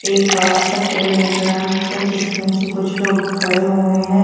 एक बड़ा सा पेड़ दिख रहा है जिसके नीचे कुछ लोग खड़े हुए हैं।